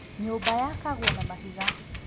Nyũmba yakagwo na mahiga.